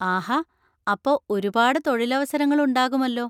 ആഹാ! അപ്പോ ഒരുപാട് തൊഴിലവസരങ്ങൾ ഉണ്ടാകുമല്ലോ.